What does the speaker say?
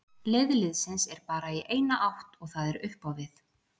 Leið liðsins er bara í eina átt og það er upp á við.